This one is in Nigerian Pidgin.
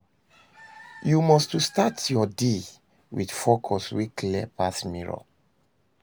Yu must to start yur day wit focus wey clear pass mirror